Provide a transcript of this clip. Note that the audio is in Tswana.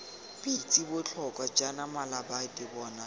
pitse botlhoko jaana mmalabadi bona